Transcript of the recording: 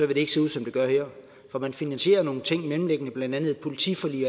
vil det ikke se ud som det gør her for man finansierer nogle mellemliggende ting blandt andet et politiforlig